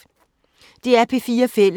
DR P4 Fælles